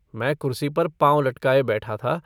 मै कुरसी पर पाँव लटकाये बैठा था।